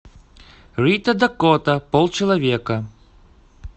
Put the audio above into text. рита дакота полчеловека